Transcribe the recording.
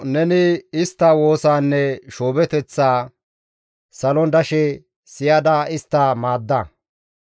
neni istta woosaanne shoobeththaa salon dashe siyada istta maadda.